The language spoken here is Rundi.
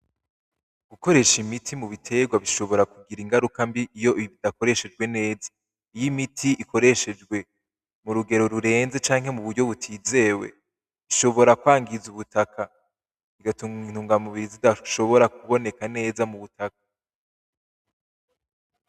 Gukoresha imiti mubiterwa bishobora kugira ingaruka mbi iyo bitakoreshejwe neza. Iyo imiti ikoreshejwe murugero rurenze canke muburyo butizewe, bishobora kwangiza ubutaka bigatuma intungamubiri zitashobora kuboneka neza mubutaka.